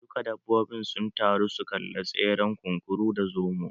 Duka dabbobin sun taru su kalla tseren kunkuru da zomon